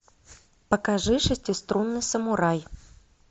покажи шестиструнный самурай